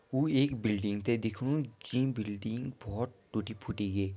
ऊ एक बिल्डिंग ते दिख्णू जीं बिल्डिंग भौत टूटी फूटी गे।